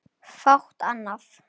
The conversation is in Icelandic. Fátt annað.